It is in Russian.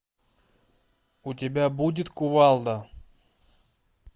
у тебя будет кувалда